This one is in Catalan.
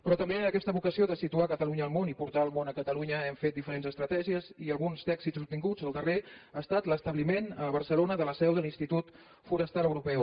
però també amb aquesta vocació de situar catalunya al món i portar el món a catalunya hem fet diferents estratègies i alguns dels èxits obtinguts el darrer ha estat l’establiment a barcelona de la seu de l’institut forestal europeu